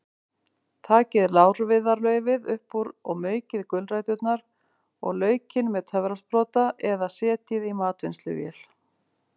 Takið lárviðarlaufið upp úr og maukið gulræturnar og laukinn með töfrasprota eða setjið í matvinnsluvél.